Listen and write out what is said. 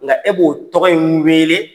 Nka e b'o tɔgɔ in wele